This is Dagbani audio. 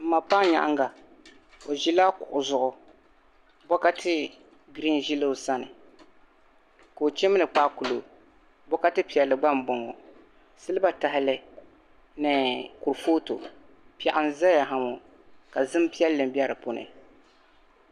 Mma paya nyaanga ozila luɣu zuɣu bokati zela osani ka o shimdi kpaakulɔ bɔkati palli gba m-boŋo shiliba tali ni kurfotu peɣu n-zayaŋo kazim piɛli be di puuni.